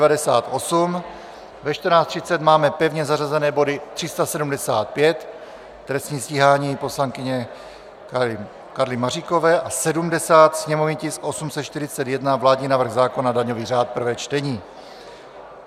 Ve 14.30 máme pevně zařazené body 375 - trestní stíhání poslankyně Karly Maříkové, a 70, sněmovní tisk 841 - vládní návrh zákona, daňový řád, prvé čtení.